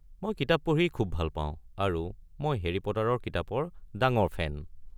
মই কিতাপ পঢ়ি খুব ভাল পাওঁ আৰু মই হেৰি পটাৰৰ কিতাপৰ ডাঙৰ ফেন।